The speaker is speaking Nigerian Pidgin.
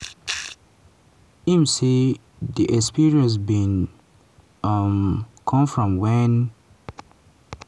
im say di experience bin um come from wen